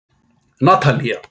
Natalía